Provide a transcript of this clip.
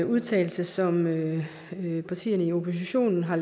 vedtagelse som partierne i oppositionen har